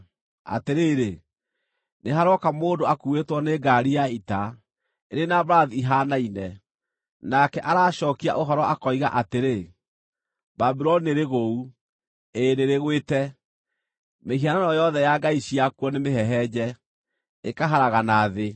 Atĩrĩrĩ, nĩharooka mũndũ akuuĩtwo nĩ ngaari ya ita, ĩrĩ na mbarathi ihaanaine. Nake aracookia ũhoro akoiga atĩrĩ: ‘Babuloni nĩrĩgũu, ĩĩ nĩrĩgwĩte! Mĩhianano yothe ya ngai ciakuo nĩmĩhehenje, ĩkaharagana thĩ!’ ”